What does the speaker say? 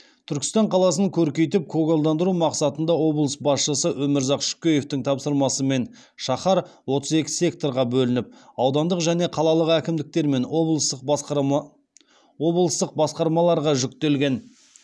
түркістан қаласын көркейтіп көгалдандыру мақсатында облыс басшысы өмірзақ шөкеевтің тапсырмасымен шаһар отыз екі секторға бөлініп аудандық және қалалық әкімдіктер мен облыстық басқармаларға жүктелген